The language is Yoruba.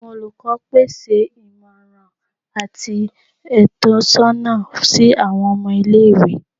Awọn olukọ pese imọran ati itọsọna si awọn ọmọ ile-iwe